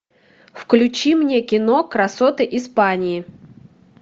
включи мне кино красоты испании